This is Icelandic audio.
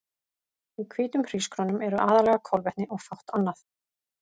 Í hvítum hrísgrjónum eru aðallega kolvetni og fátt annað.